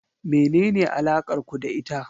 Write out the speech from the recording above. Menene alakar ku da ita?